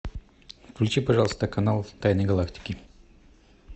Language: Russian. включи пожалуйста канал тайны галактики